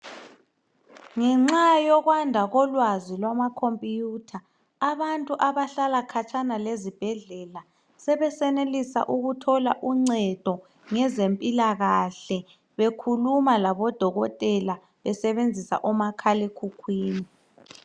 Ngenxa yokwanda kolwazi lwamakhompuyutha abantu abahlala khatshana lezibhedlela sebesenelisa ukuthola uncedo ngezempilakahle bekhuluma labodokotela besebenzisa omakhal' ekhukhwini.